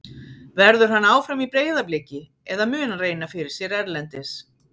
Verður hann áfram í Breiðabliki eða mun hann reyna fyrir sér erlendis?